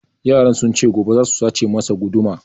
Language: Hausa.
Yaran sun ce gobe za su sace masa guduma